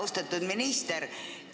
Austatud minister!